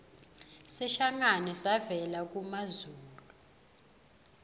sishangane savela kumazulu